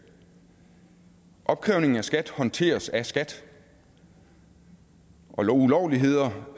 opkrævning af skat håndteres af skat og ulovligheder